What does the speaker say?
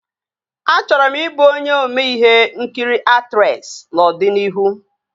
Achọrọ m ị bụ onye ome ihe nkiri aktresị n'ọdịnihu